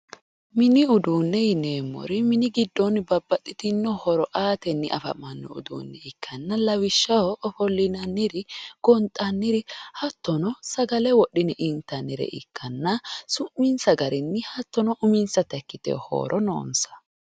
Mini uduunne yineemmori mini giddoonni babbaxitinno horo aatenni afamanno uduunne ikkanna lawishshaho ofollinanniri gonxanniri hattono sagale wodhine intannire ikkanna su'minsa garinni hattono uminsata ikkitewo horo noonsa.